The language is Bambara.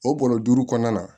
O bɔrɔ duuru kɔnɔna na